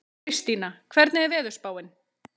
Kristína, hvernig er veðurspáin?